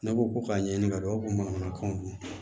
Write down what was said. Ne ko k'a ɲɛɲini ka dɔn ko mankanw don